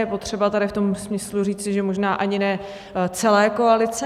Je potřeba tady v tom smyslu říci, že možná ani ne celé koalice.